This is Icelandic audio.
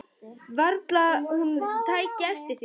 Varla hún tæki eftir því.